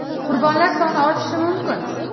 Qurbonlar soni oshishi mumkin.